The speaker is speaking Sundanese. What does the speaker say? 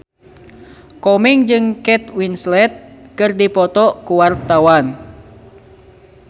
Komeng jeung Kate Winslet keur dipoto ku wartawan